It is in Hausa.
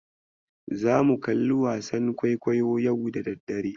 Zamu kalli wasa kwaikwayo yau da daddare.